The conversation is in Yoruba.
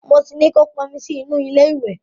Mo ti ní kó pọn omi sí inú ilé ìwẹ̀.